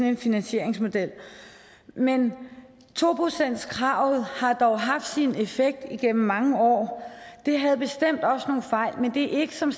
en finansieringsmodel men to procentskravet har dog haft sin effekt igennem mange år det havde bestemt også nogle fejl men det er ikke som